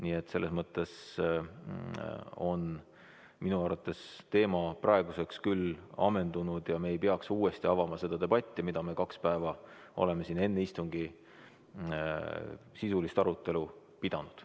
Nii et minu arvates on teema praeguseks küll ammendunud ja me ei peaks uuesti avama seda debatti, mida me kaks päeva oleme siin enne istungi sisulist arutelu pidanud.